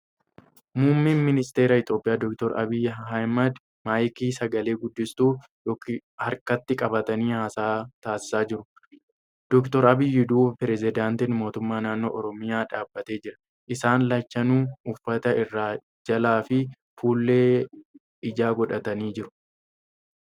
Muummeen ministara Itiyoophiyaa Dr. Abiyyi Ahmad maayikii ( sagale-guddistuu) harkatti qabatanii haasa'a tasisaa jiru. Dr. Abiyyi duuba pireezidaantiin mootummaa naannoo Oromiyaa dhaabbatee jira. Isaan lachanuu uffata irraa jalaa fi fuullee ijaa godhatanii jiru.